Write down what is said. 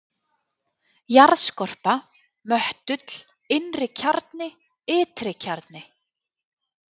jarðskorpa möttull innri-kjarni ytri-kjarni